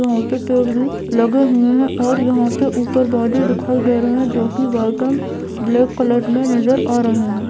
वहां पर पेड़ भी लगे हुए है और यहाँ पे ऊपर बादल दिखाई दे रहे है जो की व्हाइट एंड ब्लैक कलर में नज़र आ रहे है।